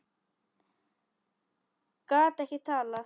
Gat ekki talað.